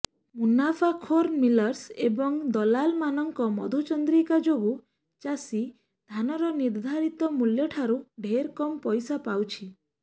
ମୁନାଫାଖୋର millers ଏବଂ ଦଲାଲମାନଙ୍କ ମଧୁଚନ୍ଦ୍ରିକା ଯୋଗୁଁ ଚାଷୀ ଧାନର ନିର୍ଦ୍ଧାରିତ ମୂଲ୍ୟଠାରୁ ଢେର କମ୍ ପଇସା ପାଉଛି